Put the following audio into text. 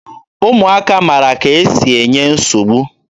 Ụmụaka mara ka e si enye nsogbu.